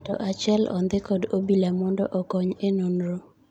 Ng'ato achiel ondhii kod obila mond okony e nonro